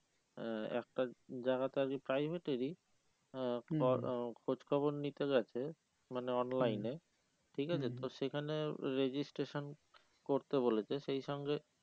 আহ একটা জায়গাতে আর কি private এরই আহ খ আহ খোঁজ খবর নিতে গেছে মানে online এ ঠিক আছে তো সেখানে registration করতে বলেছে সেই সঙ্গে